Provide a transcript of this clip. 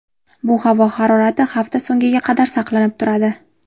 Bu havo harorati hafta so‘ngiga qadar saqlanib turadi.